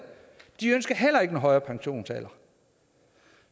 de ønsker heller ikke en højere pensionsalder